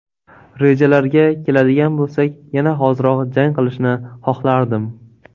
Rejalarga keladigan bo‘lsak, yana hoziroq jang qilishni xohlardim.